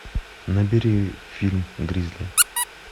набери фильм гризли